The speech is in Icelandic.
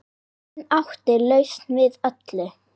Hann átti lausn við öllu.